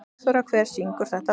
Sigurþóra, hver syngur þetta lag?